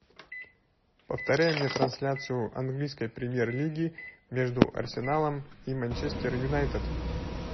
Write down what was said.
повторяй мне трансляцию английской премьер лиги между арсеналом и манчестер юнайтед